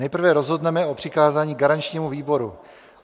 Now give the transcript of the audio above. Nejprve rozhodneme o přikázání garančnímu výboru.